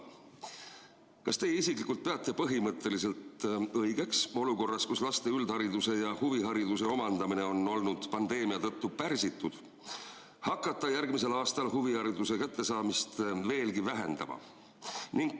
Kas teie isiklikult peate põhimõtteliselt õigeks, et olukorras, kus laste üldhariduse ja huvihariduse omandamine on olnud pandeemia tõttu pärsitud, hakatakse järgmisel aastal huvihariduse kättesaadavust veelgi vähendama?